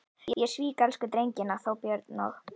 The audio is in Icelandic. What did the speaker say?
Ég svík elsku drengina, þá Björn og